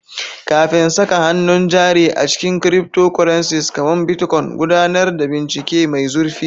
Kafin saka hannun jari a cikin cryptocurrencies kamar Bitcoin, gudanar da bincike mai zurfi.